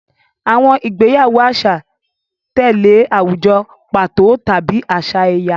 Àwọn ìgbéyàwó àṣà tẹ̀lé àwùjọ pàtó tàbí àṣà ẹ̀yà.